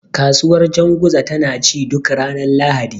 Kasuwar janguza tana ci duk ranar Lahadi.